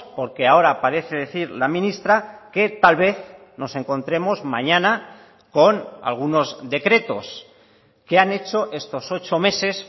porque ahora parece decir la ministra que tal vez nos encontremos mañana con algunos decretos que han hecho estos ocho meses